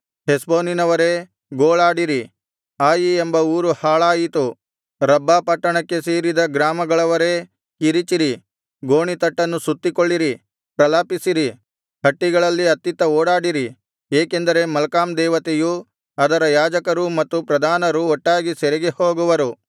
ಹೆಷ್ಬೋನಿನವರೇ ಗೋಳಾಡಿರಿ ಆಯಿ ಎಂಬ ಊರು ಹಾಳಾಯಿತು ರಬ್ಬಾ ಪಟ್ಟಣಕ್ಕೆ ಸೇರಿದ ಗ್ರಾಮಗಳವರೇ ಕಿರಿಚಿರಿ ಗೋಣಿತಟ್ಟನ್ನು ಸುತ್ತಿಕೊಳ್ಳಿರಿ ಪ್ರಲಾಪಿಸಿರಿ ಹಟ್ಟಿಗಳಲ್ಲಿ ಅತ್ತಿತ್ತ ಓಡಾಡಿರಿ ಏಕೆಂದರೆ ಮಲ್ಕಾಮ್ ದೇವತೆಯು ಅದರ ಯಾಜಕರೂ ಮತ್ತು ಪ್ರಧಾನರೂ ಒಟ್ಟಾಗಿ ಸೆರೆಗೆ ಹೋಗುವರು